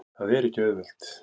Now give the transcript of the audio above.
Það er ekki auðvelt.